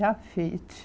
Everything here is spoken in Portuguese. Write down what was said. Já fiz.